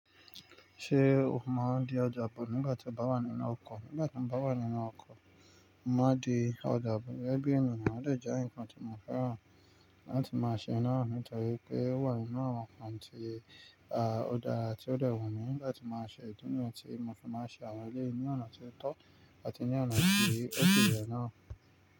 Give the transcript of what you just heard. Ṣé o máa di ọjà bọ̀ nígbà tí o bá wà nínú ọkọ̀? Nígbà tí mo bá wà nínú ọkọ̀, mo má n di ọjà bọ̀, gẹ́gẹ́ bí ènìyàn o dè je nǹkan tí mo fẹ́ràn láti máa ṣe naa nítorí pé ó wà nínú àwọn nǹkan tí, à, ó dára tí ó de wun mí làtí màá ṣe ìdí nu ti mo fi máa ń ṣe àwọn eleyii ní ọ̀nà tí ó tọ́ àti ní ọ̀nà tí ó si ye naa.